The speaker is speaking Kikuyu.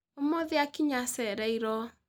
Omũthĩ akinya acereirwo.